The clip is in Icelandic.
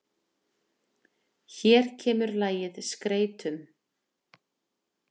Hér kemur lagið SKREYTUM.